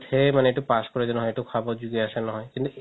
সেইয়ে মানে এইটো প্ৰয়োজন হয় এইটো খাব যদি আছে নহয়